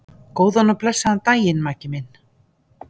Góðan og blessaðan daginn, Maggi minn.